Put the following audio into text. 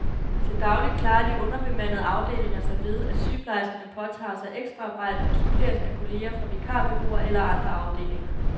Til daglig klarer de underbemandede afdelinger sig ved, at sygeplejerskerne påtager sig ekstraarbejde og suppleres af kolleger fra vikarbureauer eller andre afdelinger.